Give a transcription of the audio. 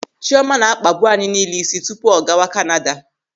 Chiọma na-akpabu anyị niile ịsị tupu ọ gawa Kanada.